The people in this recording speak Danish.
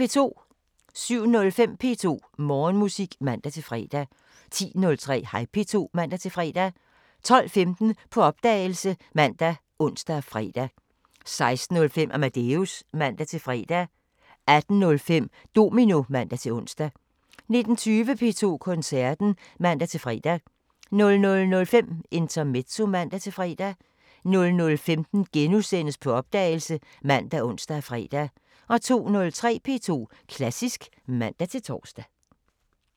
07:05: P2 Morgenmusik (man-fre) 10:03: Hej P2 (man-fre) 12:15: På opdagelse ( man, ons, fre) 16:05: Amadeus (man-fre) 18:05: Domino (man-ons) 19:20: P2 Koncerten (man-fre) 00:05: Intermezzo (man-fre) 00:15: På opdagelse *( man, ons, fre) 02:03: P2 Klassisk (man-tor)